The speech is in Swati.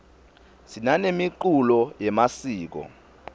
sinanemiculo yemasiko